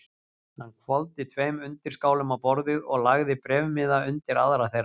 Hann hvolfdi tveim undirskálum á borðið og lagði bréfmiða undir aðra þeirra.